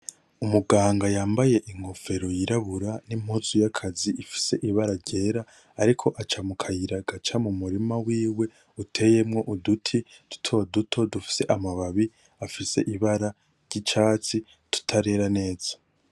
Umuganga yambaye inkofero yirabura nimpuzu yakazi ifise ibara ryera, ariko aca mukayira gaca mumurima wiwe uteyemwo uduti duto duto dufise amababi afise ibara risa ry'icatsi tutarera neza .